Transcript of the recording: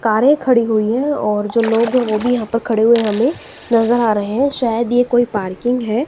कारे खड़ी हुई है और जो लोग हैं वो भी यहां पर खड़े हुए हमें नजर आ रहे हैं शायद ये कोई पार्किंग है।